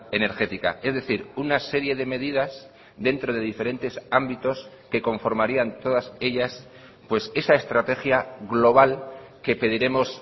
energética es decir una serie de medidas dentro de diferentes ámbitos que conformarían todas ellas pues esa estrategia global que pediremos